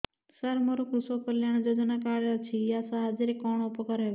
ସାର ମୋର କୃଷକ କଲ୍ୟାଣ ଯୋଜନା କାର୍ଡ ଅଛି ୟା ସାହାଯ୍ୟ ରେ କଣ ଉପକାର ହେବ